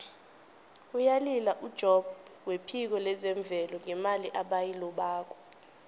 uyalila ujobb wephiko lezemvelo ngemali ebayilobako